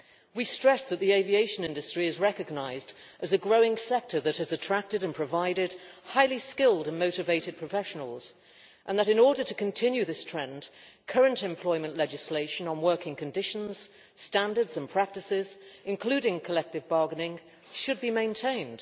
We stress that the aviation industry is recognised as a growing sector that has attracted and provided highly skilled and motivated professionals, and that in order to continue this trend, current employment legislation on working conditions, standards and practices, including collective bargaining, should be maintained.